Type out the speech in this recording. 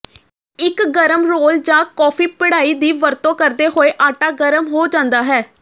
ਇੱਕ ਗਰਮ ਰੋਲ ਜਾਂ ਕੌਫੀ ਪਿੜਾਈ ਦੀ ਵਰਤੋਂ ਕਰਦੇ ਹੋਏ ਆਟਾ ਗਰਮ ਹੋ ਜਾਂਦਾ ਹੈ